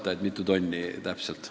Ma ei tea, mitu tonni täpselt.